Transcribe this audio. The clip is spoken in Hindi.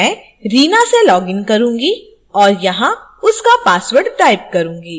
मैं reena से login करूंगी और यहाँ उसका password type करूंगी